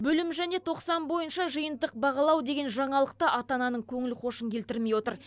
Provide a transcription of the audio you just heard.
бөлім және тоқсан бойынша жиынтық бағалау деген жаңалық та ата ананың көңіл хошын келтірмей отыр